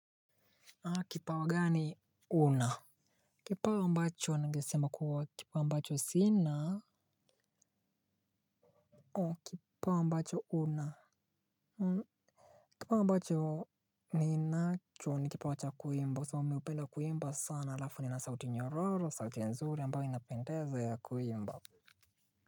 Kipawa gani una? Kipawa ambacho ningesema kuwa kipawa ambacho sina? Kipawa ambacho una? Kipawa ambacho ninacho ni kipawa cha kuimba So mi hupenda kuimba sana alafu ni ninasauti nyororo sauti nzuri ambayo inapendeza ya kuimba.